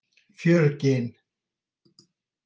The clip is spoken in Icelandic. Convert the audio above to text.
Fjörgyn